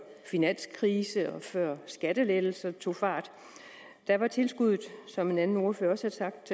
finanskrise og før skattelettelserne rigtig tog fart var tilskuddet som en anden ordfører også har sagt